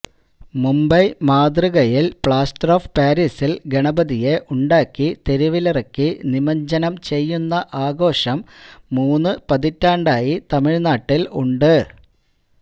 മുംബൈ മാതൃകയില് plaster of പാരീസില് ഗണപതിയെ ഉണ്ടാക്കി തെരുവിലിറക്കി നിമജ്ജനം ചെയ്യുന്ന ആഘോഷം മൂന്നു പതിറ്റാണ്ടായി തമിഴ്നാട്ടില് ഉണ്ട്